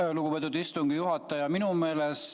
Aitäh, lugupeetud istungi juhataja!